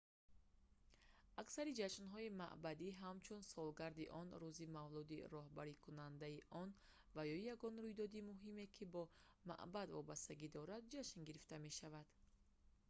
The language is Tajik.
аксари ҷашнҳои маъбади ҳамчун солгарди он рӯзи мавлуди роҳбарикунандани он ва ё ягон рӯйдоди муҳиме ки бо маъбад вобастагӣ дорад ҷашн гирифта мешаванд